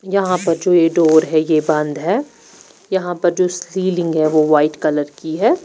यहा पर जो ये डोर हैं ये बंद हैं यहा पे जो स्ली लिंग हैं वो वाइट् कलर कि हैं।